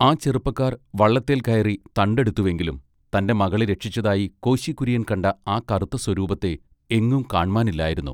ആ ചെറുപ്പക്കാർ വള്ളത്തേൽ കയറി തണ്ട് എടുത്തുവെങ്കിലും തന്റെ മകളെ രക്ഷിച്ചതായി കോശി കുര്യൻ കണ്ട ആ കറുത്ത സ്വരൂപത്തെ എങ്ങും കാണ്മാനില്ലായിരുന്നു.